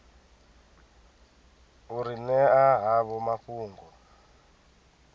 u ri ṅea havho mafhungo